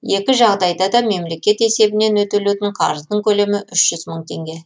екі жағдайда да мемлекет есебінен өтелетін қарыздың көлемі үш жүз мың теңге